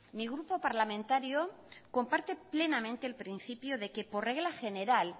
mi grupo parlamentario comparte plenamente el principio de que por regla general